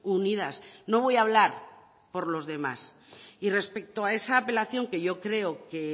unidas no voy a hablar por los demás y respecto a esa apelación que yo creo que